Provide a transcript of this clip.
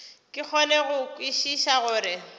ke kgone go kwešiša gore